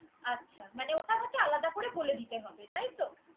আচ্ছা মানে ওটার একটা আলাদা করে বলে দিতে হবে। তাইতো।